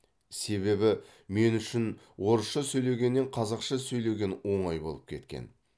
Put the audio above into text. себебі мен үшін орысша сөйлегеннен қазақша сөйлеген оңай болып кеткен